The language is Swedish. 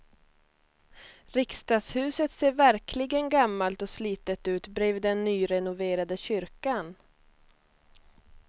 Riksdagshuset ser verkligen gammalt och slitet ut bredvid den nyrenoverade kyrkan.